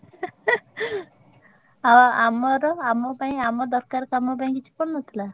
ଆଉ ଆମର ଆମ ପାଇଁ ଆମ ଦରକାର କାମ ପାଇଁ କିଛି ପଡ଼ିନଥିଲା?